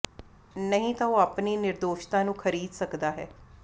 ਨਹੀਂ ਤਾਂ ਉਹ ਆਪਣੀ ਨਿਰਦੋਸ਼ਤਾ ਨੂੰ ਖਰੀਦ ਸਕਦਾ ਹੈ